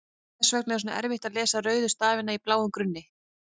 Hvers vegna er svona erfitt að lesa rauða stafi á bláum grunni?